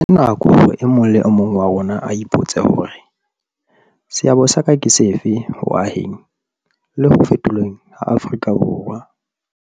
Ke nako hore e mong le e mong wa rona a ipotse hore, seabo sa ka ke sefe ho aheng le ho fetolweng ha Afrika Borwa?